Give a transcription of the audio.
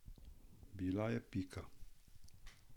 Bila je pika.